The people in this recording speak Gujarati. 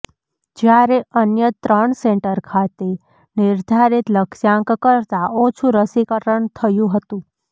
જ્યારે અન્ય ત્રણ સેન્ટર ખાતે નિર્ધારીત લક્ષ્યાંક કરતા ઓછુ રસીકરણ થયુ હતુ